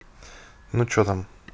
ну что там